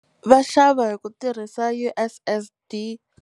Va xava hi ku tirhisa U_S_S_D.